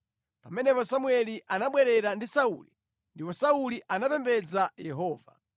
Pamenepo Samueli anabwerera ndi Sauli, ndipo Sauli anapembedza Yehova.